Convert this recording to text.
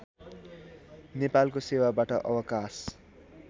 नेपालको सेवाबाट अवकाश